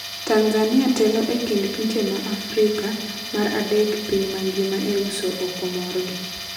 Tanzania telo e kind pinje ma Afrika t mar adek e piny mangima e uso oko morgi.